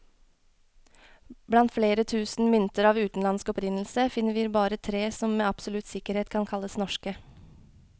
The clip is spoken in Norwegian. Blant flere tusen mynter av utenlandsk opprinnelse, finner vi bare tre som med absolutt sikkerhet kan kalles norske.